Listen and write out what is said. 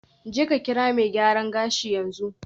Jeka kira mai gyaran gashi yanzu.